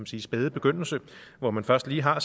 sige spæde begyndelse hvor man først lige har